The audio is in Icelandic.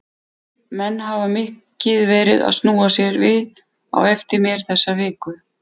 Menn hafa mikið verið að snúa sér við á eftir mér þessa viku.